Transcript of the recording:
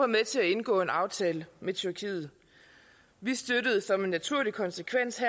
med til at indgå en aftale med tyrkiet vi støttede som en naturlig konsekvens